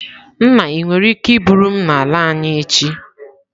Nna, ị nwere ike iburu m n'ala anyi echi?